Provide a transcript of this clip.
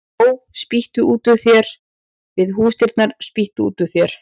Ó, spýttu út úr þér við húsdyrnar, spýttu út úr þér